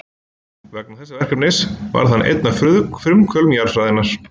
Vegna þessa verkefnis varð hann einn af frumkvöðlum jarðfræðinnar.